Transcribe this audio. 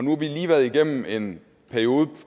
har vi lige været igennem en periode